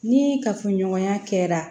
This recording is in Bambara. Ni kafoɲɔgɔnya kɛra